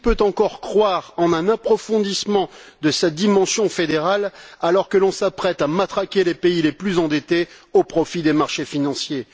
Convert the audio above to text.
Qui peut encore croire à un approfondissement de sa dimension fédérale alors que l'on s'apprête à matraquer les pays les plus endettés au profit des marchés financiers?